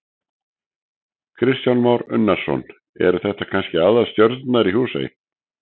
Kristján Már Unnarsson: Eru þetta kannski aðalstjörnunnar í Húsey?